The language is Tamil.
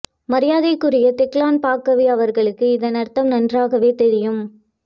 மரியாதைக் குரிய தெஹ்லான் பாக்கவி அவர்களுக்கு இதன் அர்த்தம் நன்றாகவே தெரியும்